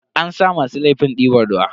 An sa masu laifin diban ruwa.